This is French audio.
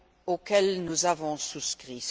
auxquels nous avons souscrit.